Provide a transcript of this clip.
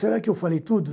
Será que eu falei tudo?